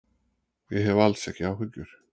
Ég hef alls ekki áhyggjur.